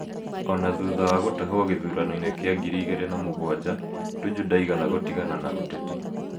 O na thutha wa gũtahwo gĩthurano-inĩ kĩa 2007, Tuju ndaigana gũtigana na ũteti.